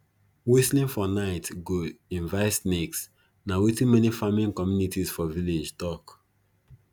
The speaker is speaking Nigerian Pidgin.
whistling for night go invite snakes na wetin many farming communities for village tok